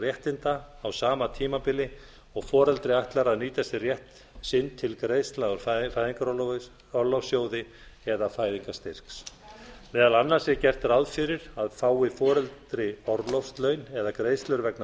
réttinda á sama tímabili og foreldri ætlar að nýta sér rétt sinn til greiðslu úr fæðingarorlofssjóði eða fæðingarstyrks meðal annars er gert ráð fyrir að fái foreldri orlofslaun eða greiðslur vegna